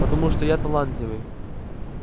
потому что я талантливый